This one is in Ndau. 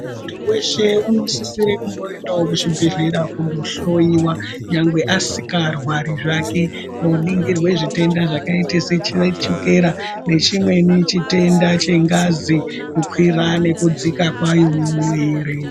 Munthu wshe unosisire kundoendeo kuchibhedhlera kunohloyiwa nyangwe asingarwari zvake koningirwa zvitenda zvakaita sechiwetikera nechimweni chitenda chengazi kukwira nekudzika kwayo mumwiri.